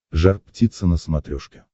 жар птица на смотрешке